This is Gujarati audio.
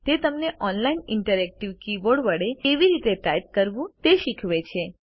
તે તમને ઑનલાઇન ઇન્ટરએક્ટિવ કીબોર્ડ વડે કેવી રીતે ટાઇપ કરવું તે શીખવે છે